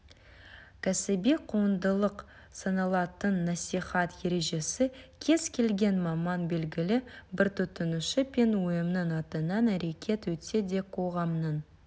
кәсіби құндылық саналатын насихат ережесі кез келген маман белгілі бір тұтынушы пен ұйымның атынан әрекет етсе де қоғамның